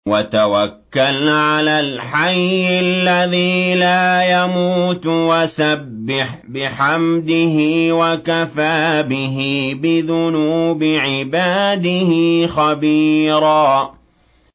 وَتَوَكَّلْ عَلَى الْحَيِّ الَّذِي لَا يَمُوتُ وَسَبِّحْ بِحَمْدِهِ ۚ وَكَفَىٰ بِهِ بِذُنُوبِ عِبَادِهِ خَبِيرًا